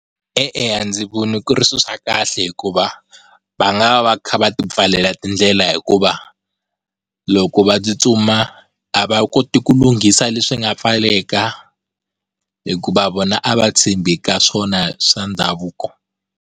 E-e, a ndzi voni ku ri swi swa kahle hikuva va nga va va kha va ti pfalela tindlela hikuva loko va tsutsuma a va koti ku lunghisa leswi nga pfaleka hikuva vona a va tshembi ka swona swa ndhavuko.